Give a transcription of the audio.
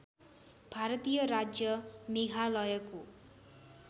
भारतीय राज्य मेघालयको